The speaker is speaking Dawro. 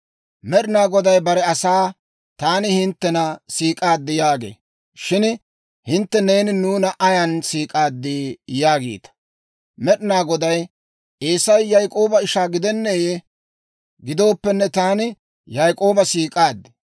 Med'ina Goday bare asaa, «Taani hinttena siik'aaddi» yaagee. Shin hintte, «Neeni nuuna ayan siik'aaddi?» yaagiita. Med'ina Goday, «Eesay Yaak'ooba ishaa gidenneeyee? Gidooppenne taani Yaak'ooba siik'aaddi;